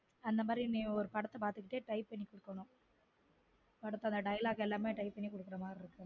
அந்த மாதிரியே நீ ஒரு படத்த பார்துக்கு கிட்டே type பண்ணி குடுக்கனும் நீ படத்தோட dialogue எல்லாமே type பண்ணிக்குடுக்கர மாதிரி இருக்கும்